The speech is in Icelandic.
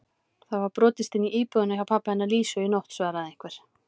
Það var brotist inn í búðina hjá pabba hennar Lísu í nótt svaraði einhver.